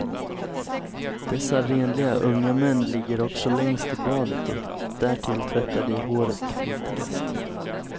Dessa renliga unga män ligger också längst i badet och därtill tvättar de håret flitigast.